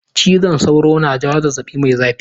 Cizon sauro na jawo zazzaɓi mai zafi.